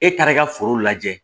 E taara i ka foro lajɛ